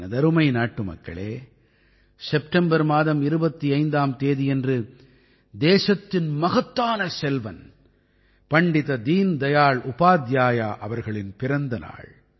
எனதருமை நாட்டுமக்களே செப்டெம்பர் மாதம் 25ஆம் தேதியன்று தேசத்தின் மகத்தான செல்வன் பண்டித தீன் தயாள் உபாத்தியாயா அவர்களின் பிறந்த நாள்